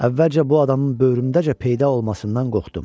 Əvvəlcə bu adamın böyrümdəcə peyda olmasından qorxdum.